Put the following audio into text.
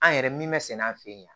An yɛrɛ min mɛ sɛnɛ an fe yen